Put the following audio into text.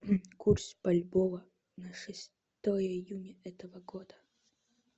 курс бальбоа на шестое июня этого года